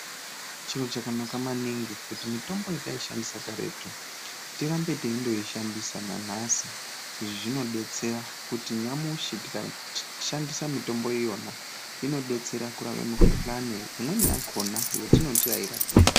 Chiro chakanaka maningi kuti mitombo yetaishandisa karetu tirambe teindoishandisa nanhasi. Izvi zvinodetsera kuti nyamushi tikashandisa mitombo iyona inodetsera kurapa mikuhlani imweni yakona yetinoti hairapiki.